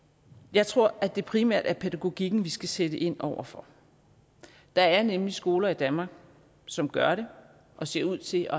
jeg tror at det primært er pædagogikken vi skal sætte ind over for der er nemlig skoler i danmark som gør det og ser ud til